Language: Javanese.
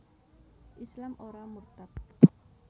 Islam ora murtad